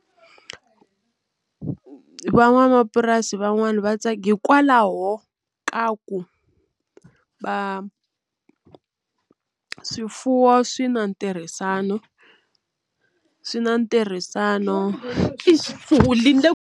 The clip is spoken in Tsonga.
Van'wamapurasi van'wani va tsaka hikwalaho ka ku va swifuwo swi na ntirhisano swi na ntirhisano .